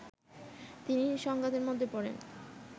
তিনি সংঘাতের মধ্যে পড়েন